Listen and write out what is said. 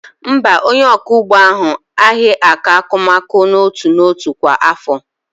Mba, onye ọkụ ugbo ahụ aaghị akọ akụmakụ n'otu n'otu kwa afọ.